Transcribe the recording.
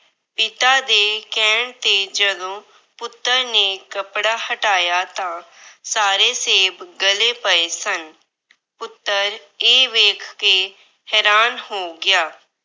ਪਿਤਾ ਦੇ ਕਹਿਣ ਤੇ ਜਦੋਂ ਪੁੱਤਰ ਨੇ ਕੱਪੜਾ ਹਟਾਇਆ ਤਾਂ ਸਾਰੇ ਸੇਬ ਗਲੇ ਪਏ ਸਨ। ਪੁੱਤਰ ਇਹ ਵੇਖ ਕੇ ਹੈਰਾਨ ਹੋ ਗਿਆ।